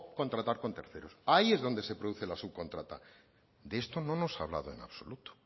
contratar con terceros ahí es donde se produce la subcontrata de esto no nos ha hablado en absoluto